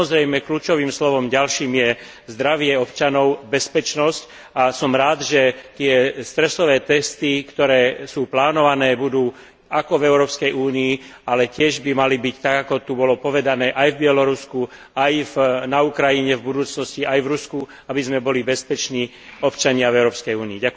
Samozrejme ďalším kľúčovým slovom je zdravie občanov a bezpečnosť a som rád, že tie stresové testy, ktoré sú plánované, budú jednak v Európskej únii, ale tiež by mali byť tak, ako tu bolo povedané, aj v Bielorusku, aj na Ukrajine v budúcnosti, aj v Rusku, aby sme boli bezpeční občania v Európskej únii.